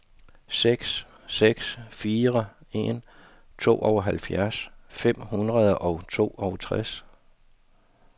seks seks fire en tooghalvfjerds fem hundrede og toogtres